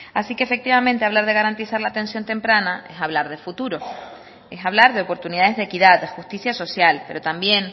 así que efectivamente hablar de garantizar la atención temprana es hablar de futuro es hablar de oportunidades de equidad de justicia social pero también